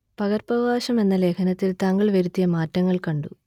പകർപ്പവകാശം എന്ന ലേഖനത്തിൽ താങ്കൾ വരുത്തിയ മാറ്റങ്ങൾ കണ്ടു